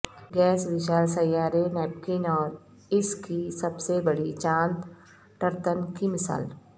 gas وشال سیارے Neptune اور اس کی سب سے بڑی چاند ٹرتن کی مثال